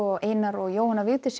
Einar og Jóhanna Vigdís